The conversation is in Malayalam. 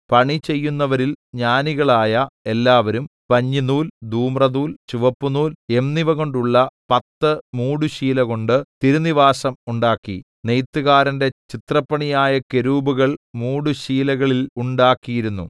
പണി ചെയ്യുന്നവരിൽ ജ്ഞാനികളായ എല്ലാവരും പഞ്ഞിനൂൽ ധൂമ്രനൂൽ ചുവപ്പുനൂൽ എന്നിവകൊണ്ടുള്ള പത്ത് മൂടുശീലകൊണ്ട് തിരുനിവാസം ഉണ്ടാക്കി നെയ്ത്തുകാരന്റെ ചിത്രപ്പണിയായ കെരൂബുകൾ മൂടുശീലകളിൽ ഉണ്ടാക്കിയിരുന്നു